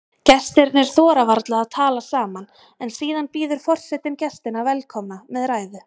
Gestirnir þora varla að tala saman en síðan býður forsetinn gestina velkomna með ræðu.